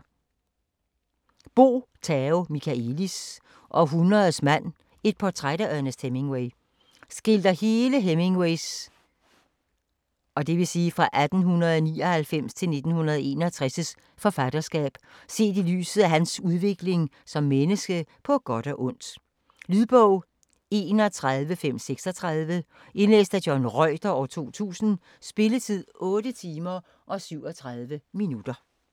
Michaëlis, Bo Tao: Århundredets mand: et portræt af Ernest Hemingway Skildrer hele Hemingway's (1899-1961) forfatterskab set i lyset af hans udvikling som menneske - på godt og ondt. Lydbog 31536 Indlæst af John Reuter, 2000. Spilletid: 8 timer, 37 minutter.